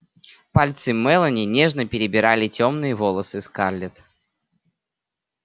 пальцы мелани нежно перебирали тёмные волосы скарлетт